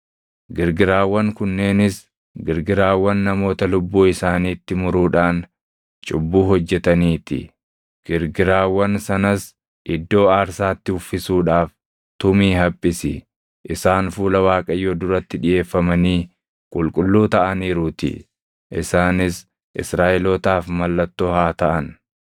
Girgiraawwan kunneenis girgiraawwan namoota lubbuu isaaniitti muruudhaan cubbuu hojjetanii ti. Girgiraawwan sanas iddoo aarsaatti uffisuudhaaf tumii haphisi; isaan fuula Waaqayyoo duratti dhiʼeeffamanii qulqulluu taʼaniiruutii. Isaanis Israaʼelootaaf mallattoo haa taʼan.”